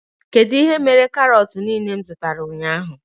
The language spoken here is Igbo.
Kedụ ihe mere karot niile m zụtara ụnyaahụ?